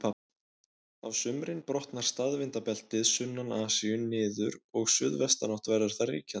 Á sumrin brotnar staðvindabeltið sunnan Asíu niður og suðvestanátt verður þar ríkjandi.